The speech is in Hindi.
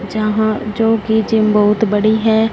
यहां जो कि जिम बहुत बड़ी है।